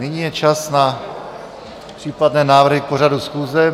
Nyní je čas na případné návrhy k pořadu schůze.